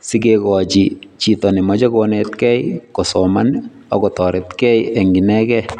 sikekochi chito nemachei konetkei kosoman ako toretkei eng inekei.